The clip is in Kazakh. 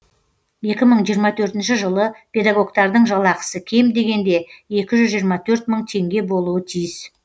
екі мың жиырма төртінші жылы педагогтердің жалақысы кем дегенде екі жүз жиырма төрт мың теңге болуы тиіс